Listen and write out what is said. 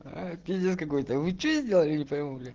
аа пиздец какой-то вы что сделали не пойму